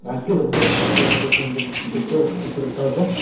әскер құртады әскер құртады мен бұны кеше пост қылып бір жазғанмын